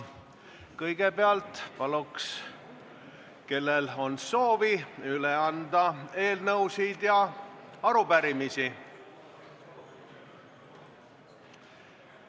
Kõigepealt palun neil, kellel on soovi, anda üle eelnõusid ja arupärimisi.